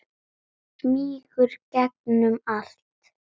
Hann smýgur gegnum allt.